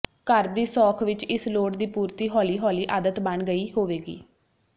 ਘਰ ਦੀ ਸੌਖ ਵਿਚ ਇਸ ਲੋੜ ਦੀ ਪੂਰਤੀ ਹੌਲੀ ਹੌਲੀ ਆਦਤ ਬਣ ਗਈ ਹੋਵੇਗੀ